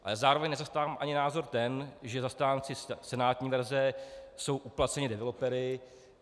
Ale zároveň nezastávám ani názor ten, že zastánci senátní verze jsou uplaceni developery.